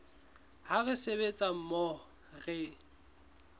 ha re sebetsa mmoho re